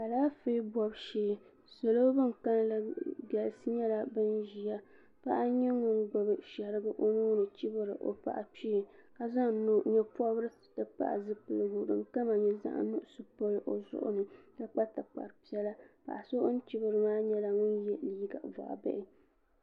Alaafee bobi shee salo bin kanli galisi nyɛla bin ʒiya paɣa n nyɛ ŋun gbubi shɛrigi o nuuni chibiri o paɣa kpee ka zaŋ nyɛ pobirisi ti pahi zipiligu din kama nyɛ zaɣ nuɣso n niŋ o zuɣu ni ka kpa tikpari piɛla paɣa so o ni chibiri maa nyɛla ŋun yɛ liiga boɣa bihi